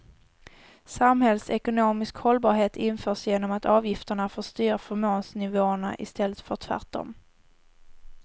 Samhällsekonomisk hållbarhet införs genom att avgifterna får styra förmånsnivåerna i stället för tvärtom.